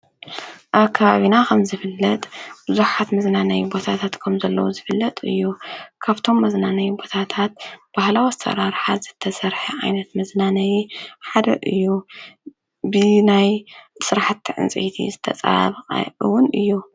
አብ ከባቢና ከምዝፍለጥ ቡዙሓት መዝናነይ ቦታታት ከምዘለው ዝፍለጥ እዩ፡፡ ካብቶም መዝናነይ ቦታታት ባህላዊ አሰራርሓ ዝተሰርሐ ዓይነት መዝናነይ ሓደ እዩ፡፡ ብናይ ስራሕቲ ፅንፀይቲ ዝፀባበቀ እውን እዩ፡፡